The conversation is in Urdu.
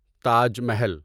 تاج محل